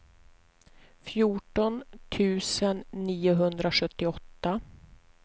fjorton tusen niohundrasjuttioåtta